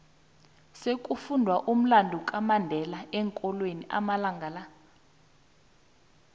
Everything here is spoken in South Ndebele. sekufundwa umlando kamandela eenkolweni amalanga la